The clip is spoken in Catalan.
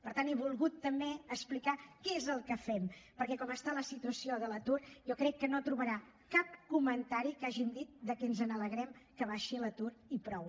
per tant he volgut també explicar què és el que fem perquè com està la situació de l’atur jo crec que no trobarà cap comentari en què hàgim dit que ens alegrem que baixi l’atur i prou